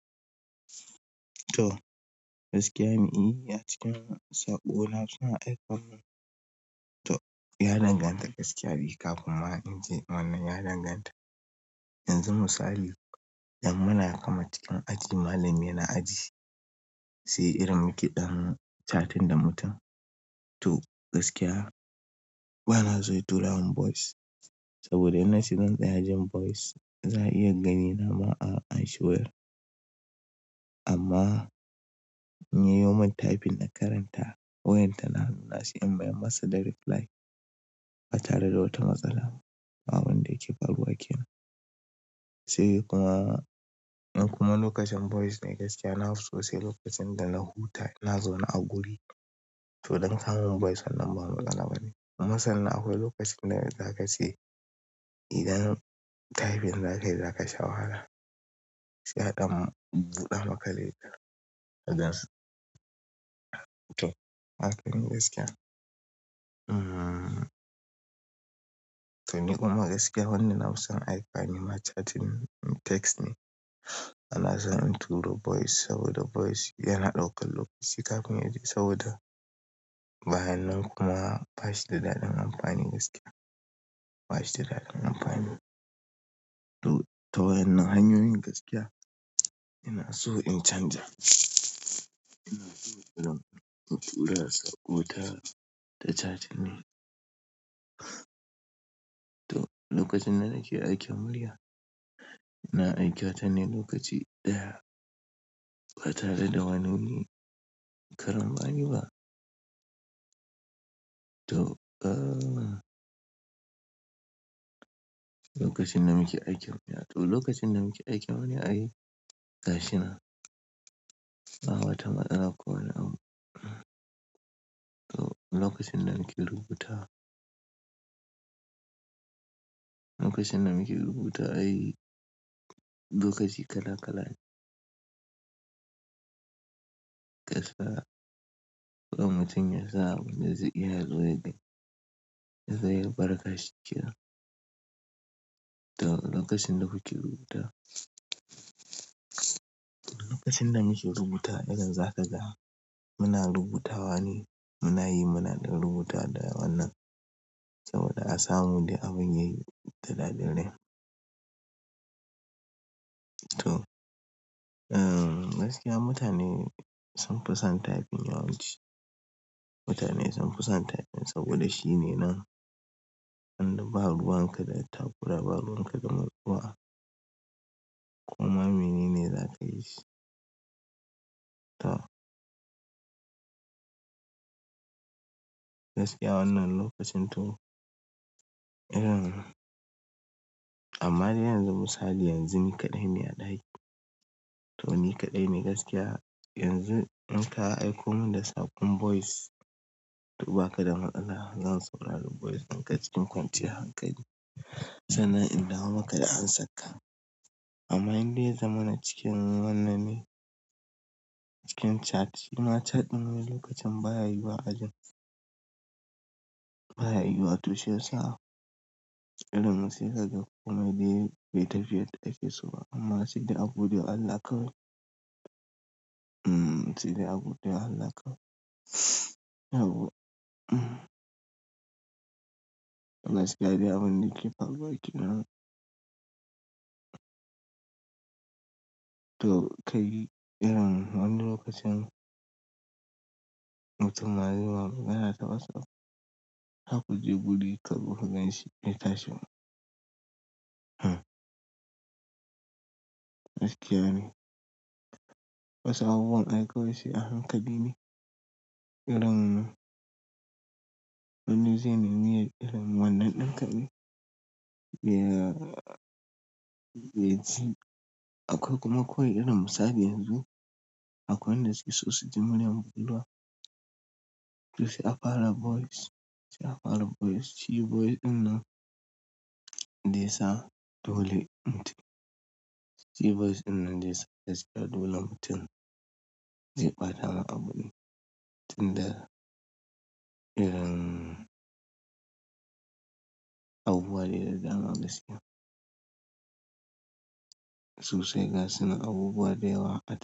To, gaskiya me yi a cikin saƙo na suna aiko min. To, ya danganta gaskiya kafin ma ince wannan ya danganta. Yanzu misali, idan muna kamar cikin aji malami yana aji, sai irin muke ɗan chatting da mutum. To, gaskiya bana so ya tura min voice, saboda idan nace zan tsaya jin voice za a iya gani nama a anshi wayar. Amma in ya yo mun typing na karanta wayan ta na, na sai dai in mayar masa da reply ba tare da wata matsala. Abunda yake faruwa kenan. Sai kuma, kuma lokacin voice ne gaskiya na fi sosai lokacin da na huta ina zauna a guri. To don sa kamun voice wannan ba matsala bane. Kuma sannan akwai lokacin da za ka ce idan typing za ka yi za ka sha wahala. Shi haɗan buɗa maka littafi. To, haka ne gaskiya. Hmm. To ni kuma gaskiya wannan na musam aiko mani ma chatting text ne. Bana so in turo voice saboda voice yana ɗaukar lokaci kafin yaje saboda bayan nan kuma bashi da daɗin amfani gaskiya. Bash da daren amfani. To waennan hanyoyin gaskiya ina so in chanja, ta chatting dai to, lokacin da ke aikin murya, ina aiki chan ne lokaci ɗaya ba tare da wani karambani ba. To, eh. Lokacin da muke aiki a murya. To, lokacin nan muke aiki a wani aiki gaskiya ba wata matsala ko ina mun. To, lokacin nan muke rubuta. Lokacin da muke rubuta aiki lokaci kala kala ne. Gaskiya, mutum ya samu yanzu iya zuwa ya gani. Zai bar gaskiya to, lokacin da muke rubuta. Lokacin da muke rubuta irin za ka ga muna rubutawa ne muna yi muna ɗan rubuta da wannan, saboda a samu dai abin yayi da daɗin ne. To, eh gaskiya mutane sun fi son typing yawanci. Mutane sun fi son typing saboda shine nan. Wanda ba ruwan ka da takura ba ruwan ka da murɗuwa. Koma menene zakayi shi to, gaskiya wannan lokacin to, irin amma dai yanzu misali yanzu ni kaɗai ne a ɗaki. To ni kaɗai ne gaskiya. Yanzu in ka aiko mun da saƙon voice, to ba ka da matsala zan saurari voice ɗinka cikin kwanciyar hankali. Sana'in dawo maka da amsarka. Amma in dai ya zamana cikin wannan ne cikin chat, suna catin mu lokacin baya yiwa ajin. Baya yiwa toh shi ya sa. Idan mun shirya da kuma dai beta fiye da take so amma sai dai abun ya yi alaƙa. Hmm. Sai dai abun ya yi alaƙa. To gaskiya dai abun da yake faruwa ƙenan. To kai irin wannan lokacin mutum na zama yana ta wasa har kaje guri kazo ka ganshi bai tashi ba hmm. Gaskiya ne. Wasu abubuwan ai kawai sai a hankali ne irin wani zai neme yi irin wannan ɗin kaɗai. Be, be ji. Akwai kuma kowani irin misali yanzu, akwai wanda suke so suji muryan mu to sai a fara voice. Sai a fara voice. Shi voice ɗinnan dayasa dole shi voice ɗinnan dayasa gaskiya dole mutum zai faɗa ma abu ne. Tin dai irin abubuwa dai da dama gaskiya. To sai gasu nan abubuwa da yawa.